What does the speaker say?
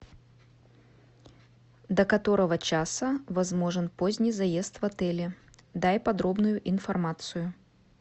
до которого часа возможен поздний заезд в отеле дай подробную информацию